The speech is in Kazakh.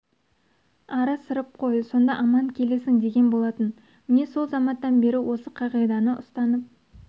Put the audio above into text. ары сырып қой сонда аман келесің деген болатын міне сол заматтан бері осы қағиданы ұстанып